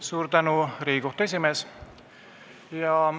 Suur tänu, Riigikohtu esimees!